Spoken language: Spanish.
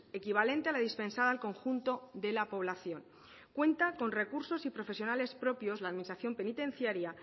equivalente a la dispensada al conjunto de la población cuanta con recursos y profesionales propios la administración penitenciaria